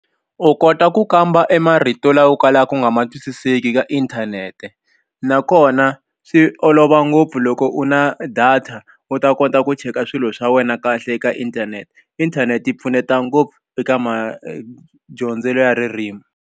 U kota ku kamba e marito lawa u kalaka ku nga ma twisiseki ka inthanete nakona swi olova ngopfu loko u na data u ta kota ku cheka swilo swa wena kahle eka inthanete inthanete yi pfuneta ngopfu eka madyondzelo ya ririmi.